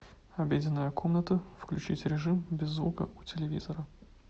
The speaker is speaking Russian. обеденная комната включить режим без звука у телевизора